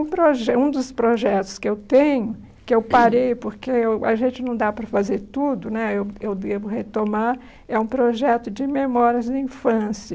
Um proje Um dos projetos que eu tenho, que eu parei, porque eu a gente não dá para fazer tudo né, eu eu devo retomar, é um projeto de memórias da infância.